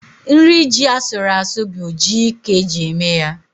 Nri ji asụrụ asụ bụ ji ka eji eme ya.